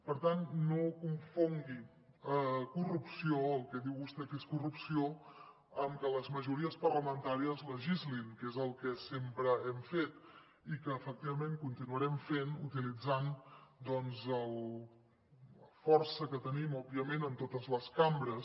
per tant no confongui corrupció el que diu vostè que és corrupció amb que les majories parlamentàries legislin que és el que sempre hem fet i que efectivament continuarem fent utilitzant doncs la força que tenim òbviament en totes les cambres